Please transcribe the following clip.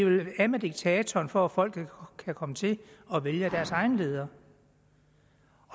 vi vil af med diktatoren for at folket kan komme til at vælge deres egen leder